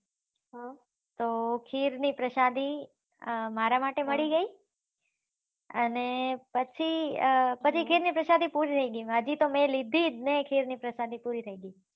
તો ખીર ની પ્રસાદી મારા માટે મળી ગયી અને પછી ખીર ની પ્રસાદી પૂરી થઇ ગયી હજી તો મેં લીધીજ નઈ ખીર ની પ્રસાદી પૂરી થઇ ગયી